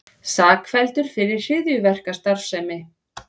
Sakfelldur fyrir hryðjuverkastarfsemi